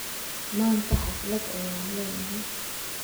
Manta haflad ayan leynahy.